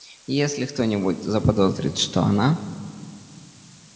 и если кто-нибудь заподозрит что она